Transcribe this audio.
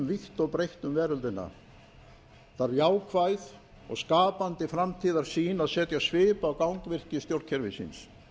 vítt og breitt um veröldina þarf jákvæð og skapandi framtíðarsýn að setja svip á gangvirki stjórnkerfisins